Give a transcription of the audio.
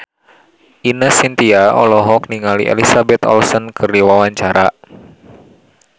Ine Shintya olohok ningali Elizabeth Olsen keur diwawancara